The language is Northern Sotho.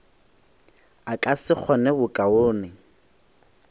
a ka se kgone bokaone